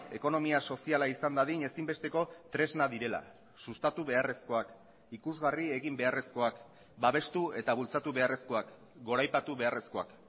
ekonomia soziala izan dadin ezinbesteko tresna direla sustatu beharrezkoak ikusgarri egin beharrezkoak babestu eta bultzatu beharrezkoak goraipatu beharrezkoak